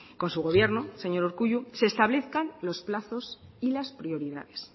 con su gobierno señor urkullu se establezcan los plazos y las prioridades